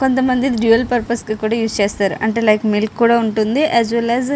కొంతమంది dual purpose కి కూడా యూస్ చేస్తారు అంటే లైక్ మిల్క్ కూడా ఉంటుంది. Yes well yes --